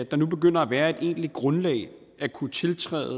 begynder at være et egentligt grundlag at kunne tiltræde